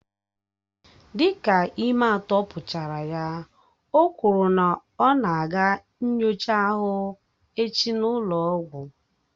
Dịka ime atọ pụchara ya, o kwuru na ọ na aga nyochaa ahụ echi n'ụlọ ọgwụ